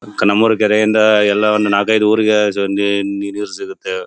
ನಮ್ಮೂರ ಕೆರೆಯಿಂದ ಎಲ್ಲ ಒಂದು ನಾಲ್ಕೈದು ಊರಿಗೆ ಸೊ ನೀರು ಸಿಗುತ್ತೆ .